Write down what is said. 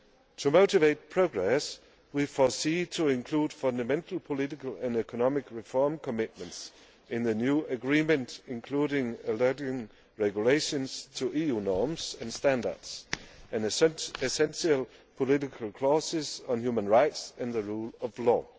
To motivate progress, we foresee including fundamental political and economic reform commitments in the new agreement, including aligning regulations to EU norms and standards, and essential political clauses on human rights and the rule of